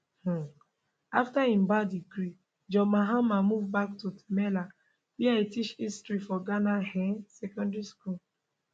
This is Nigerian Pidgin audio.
um afta im ba degree john mahama move back to tamale wia e teach history for ghana um secondary school